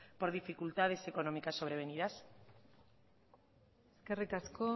por dificultades económicas sobrevenidas eskerrik asko